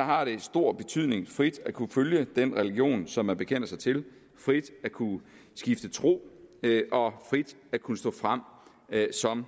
har det stor betydning frit at kunne følge den religion som man bekender sig til frit at kunne skifte tro og frit at kunne stå frem som